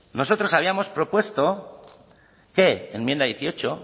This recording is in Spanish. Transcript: nosotros habíamos propuesto que enmienda dieciocho